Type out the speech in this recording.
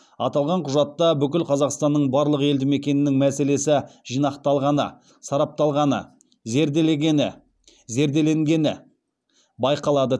аталған құжатта бүкіл қазақстанның барлық елдімекенінің мәселесі жинақталғаны сарапталғаны зерделенгені байқалады